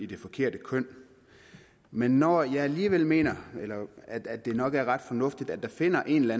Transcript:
det forkerte køn men når jeg alligevel mener at det nok er ret fornuftigt at der finder en eller